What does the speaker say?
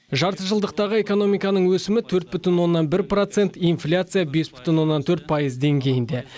жарты жылдықтағы экономиканың өсімі төрт бүтін оннан бір процент инфляция бес бүтін оннан төрт пайыз деңгейінде